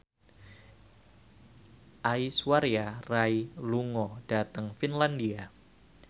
Aishwarya Rai lunga dhateng Finlandia